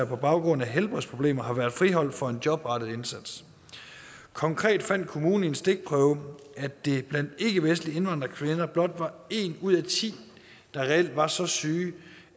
på baggrund af helbredsproblemer har været friholdt fra en jobrettet indsats konkret fandt kommunen i en stikprøve at det blandt ikkevestlige indvandrerkvinder blot var en ud af ti der reelt var så syg